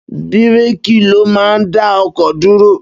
Bíréékì ló máa ń dá ọkọ̀ dúró.